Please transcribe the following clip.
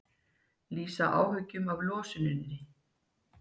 Lýsa áhyggjum af losuninni